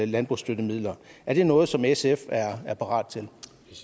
landbrugsstøttemidler er det noget som sf er parat til